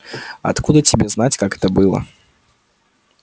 откуда тебе знать как это было